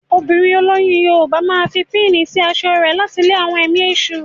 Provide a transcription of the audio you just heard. Obìnrin olóyún Yorùbá máa fi píìnì sí aṣọ rẹ̀ láti lé àwọn ẹ̀mí èṣù.